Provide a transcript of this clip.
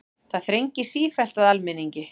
Það þrengir sífellt að almenningi